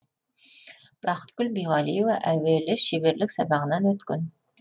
бақытгүл биғалиева әуелі шеберлік сабағынан өткен